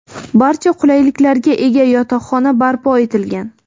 Barcha qulayliklarga ega yotoqxona barpo etilgan.